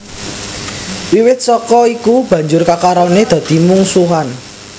Wiwit saka iku banjur kekarone dadi mungsuhan